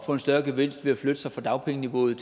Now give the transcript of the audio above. få en større gevinst ved at flytte sig fra dagpengeniveauet